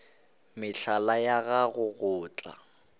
mehlala ya gago go tla